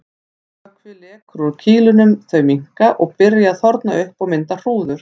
Vökvi lekur úr kýlunum, þau minnka og byrja að þorna upp og mynda hrúður.